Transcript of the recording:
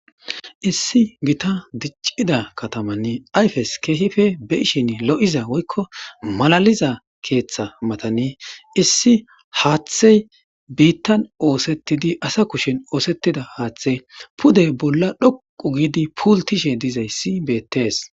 issi gita diccida katamanne ayfes keehipe be ishin lo7iza woykko malaliza keeththa matanii issi haaththey biittan oosetidi asa kushen oosettida haaththey pudey bolla dhoqu giidi puultishe dizayssi beettees